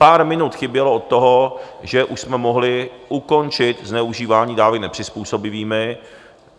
Pár minut chybělo od toho, že už jsme mohli ukončit zneužívání dávek nepřizpůsobivými.